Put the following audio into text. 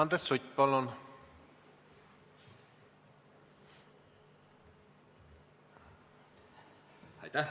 Andres Sutt, palun!